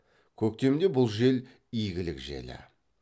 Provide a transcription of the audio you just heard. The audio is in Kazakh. көктемде бұл жел игілік желі